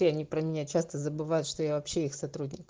и они про меня часто забывают что я вообще их сотрудник